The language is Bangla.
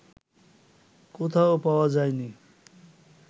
কোথাও পাওয়া যায় নি